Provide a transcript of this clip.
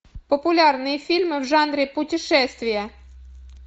популярные фильмы в жанре путешествия